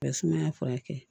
Ka sumaya furakɛ